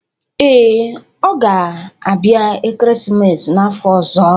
Ee, ọ ga-abịa ekeresimesi n'afọ ọzọ